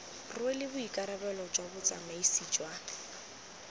rwele boikarabelo jwa botsamaisi jwa